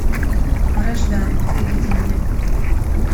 вражда выведи мне